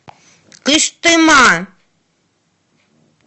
кыштыма